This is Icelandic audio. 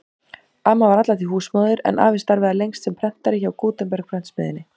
Amma var alla tíð húsmóðir en afi starfaði lengst sem prentari hjá Gutenberg-prentsmiðjunni.